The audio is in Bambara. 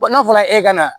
N'a fɔra e ka na